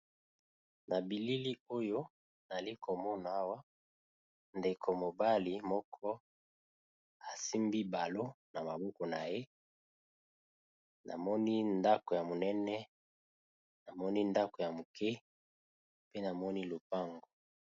Na bilili oyo ali komona awa ndeko mobali moko asimbi balo na maboko na ye namoni ndako ya monene namoni ndako ya moke pe namoni lopango.